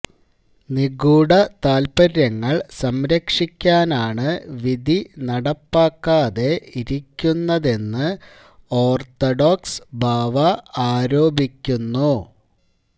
നിഗൂഢ താൽപ്പര്യങ്ങൾ സംരക്ഷിക്കാനാണ് വിധി നടപ്പാക്കാതെ ഇരിക്കുന്നതെന്ന് ഓർത്തഡോക്സ് ബാവ ആരോപിക്കുന്നു